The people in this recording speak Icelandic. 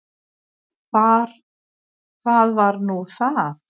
Hvað var nú það?